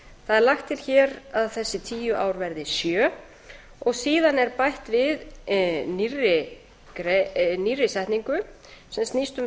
það er lagt til hér að þessi tíu ár verði sjö síðan er bætt við nýrri setningu sem snýst um